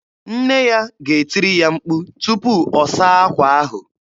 Nne ya ga-etiri ya mkpu tupu ọ saa akwa ahụ.